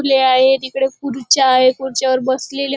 फुले आहेत इकडे खुर्च्या आहेत खुर्च्यावर बसलेले--